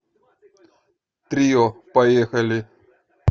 трио поехали